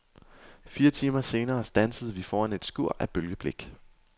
Fire timer senere standsede vi foran et skur af bølgeblik.